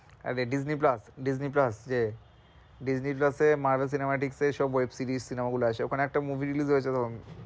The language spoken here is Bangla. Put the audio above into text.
আরে disney plus, disney plus যে disney plus এ মার্গ সিনেমাটিক্স এর সব web series সিনেমা গুলো আছে ওখানে একটা movie release হয়েছিল।